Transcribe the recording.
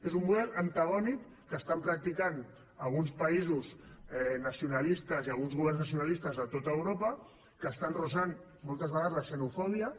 és un model antagònic que estan practicant alguns països nacionalistes i alguns governs nacionalistes a tot europa que estan fregant moltes vegades la xenofòbia